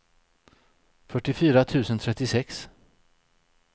fyrtiofyra tusen trettiosex